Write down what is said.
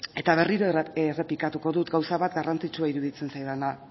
berriro errepikatuko dut gauza bat garrantzitsua iruditzen zaidana